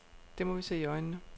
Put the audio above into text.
Det må vi se i øjnene.